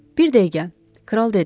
Bir dəqiqə, kral dedi.